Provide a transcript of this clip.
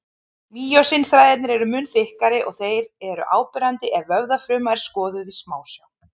Mýósín-þræðirnir eru mun þykkari og þeir eru áberandi ef vöðvafruma er skoðuð í smásjá.